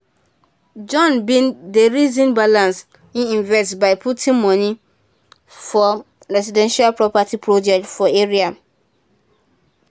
john bin dey reason balance e investment by putting moni for residential property project for area